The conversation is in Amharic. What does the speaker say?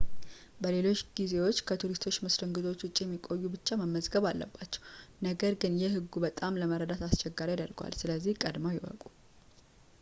በሌሎች ጊዜዎች ከቱሪስት መስተንግዶዎች ውጪ የሚቆዩ ብቻ መመዝገብ አለባቸው ነገር ግን ይህ ህጉን በጣም ለመረዳት አስቸጋሪ ያደርገዋል ስለዚህ ቀድመው ይወቁ